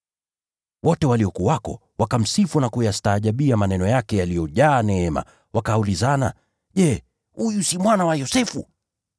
Wote waliokuwako wakamsifu na kuyastaajabia maneno yake yaliyojaa neema, wakaulizana, “Je, huyu si mwana wa Yosefu?”